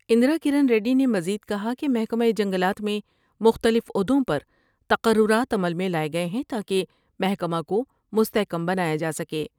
اندرا کرن ریڈی نے مزید کہا کہ محکمہ جنگلات میں مختلف عہدوں پر تقررات عمل میں لائے گئے ہیں تا کہ مکہ کومستحکم بنایا جا سکے ۔